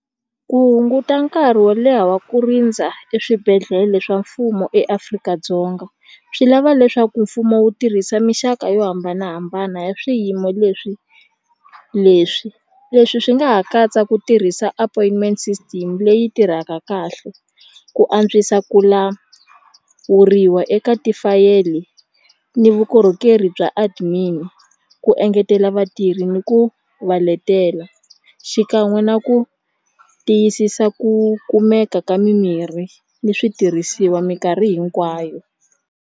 Ku hunguta nkarhi wo leha wa ku rindza eswibedhlele swa mfumo eAfrika-Dzonga swi lava leswaku mfumo wu tirhisa mixaka yo hambanahambana ya swiyimo leswi leswi leswi swi nga ha katsa ku tirhisa appointment system leyi tirhaka kahle ku antswisa ku lawuriwa eka tifayele ni vukorhokeri bya admin-i ku engetela vatirhi ni ku va letela xikan'we na ku tiyisisa ku kumeka ka mimirhi ni switirhisiwa minkarhi hinkwayo.